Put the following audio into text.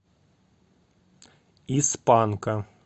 из панка